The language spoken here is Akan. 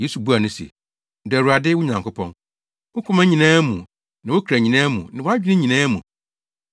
Yesu buaa no se, “ ‘Dɔ Awurade, wo Nyankopɔn, wo koma nyinaa mu ne wo kra nyinaa mu ne wʼadwene nyinaa mu.’